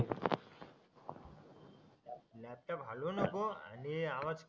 आत्ता काय भांडू नकोस आणि हे आवाज